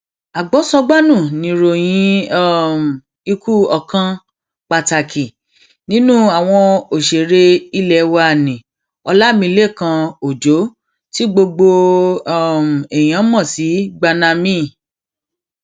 agbosọgbànu ni ìròyìn um ikú ọkàn pàtàkì nínú àwọn òṣèré ilé wa ńǹní ọlámilekan ọjọ tí gbogbo um èèyàn mọ sí gbanami